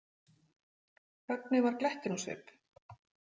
Högni var glettinn á svip.